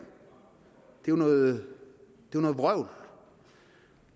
jo noget vrøvl